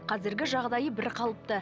қазіргі жағдайы бір қалыпты